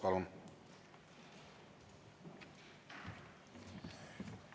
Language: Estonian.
Palun!